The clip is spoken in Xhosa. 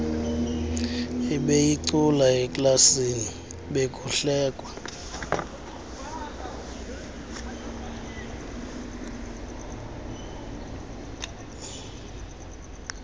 ebeyicula eklasini bekuhlekwa